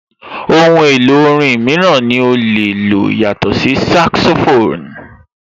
Ohun èlò orin mìíràn ní o lè lò yàtọ̀ sí saxophone?